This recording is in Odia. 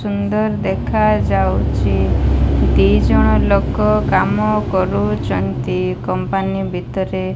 ସୁନ୍ଦର ଦେଖା ଯାଉଚି ଦି ଜଣ ଲୋକ କାମ କରୁଚନ୍ତି କମ୍ପାନୀ ଭିତରେ।